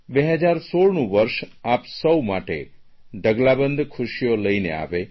2016નું વર્ષ આપ સૌ માટે ઢગલાબંધ ખુશીઓ લઇને આવે